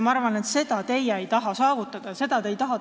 Ma arvan, et seda te saavutada ei taha, seda te tagasi ei taha.